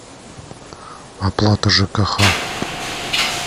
оплата жкх